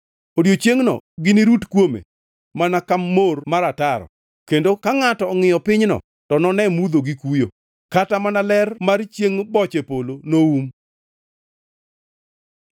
Odiechiengno ginirut kuome mana ka mor mar ataro. Kendo ka ngʼato ongʼiyo pinyno to none mudho gi kuyo; kata mana ler mar chiengʼ boche polo noum.